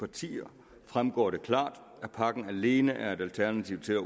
partier fremgår det klart at pakken alene er et alternativ til at